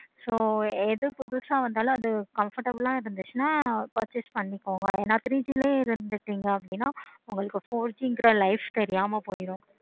so எது புதுசா வந்தாலும் அது comfortable ஆஹ் இருந்துச்சுன்னா purchase பண்ணிக்கோங்க என three G ளையும் இருந்துச்சிங்க அப்படினா four G கிரா life தெரியாம போய்டும்.